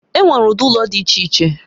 Enwere ụdị ụlọ dị iche iche